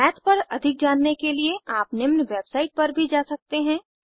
माथ पर अधिक जानने के लिए आप निम्न वेबसाइट पर भी जा सकते हैं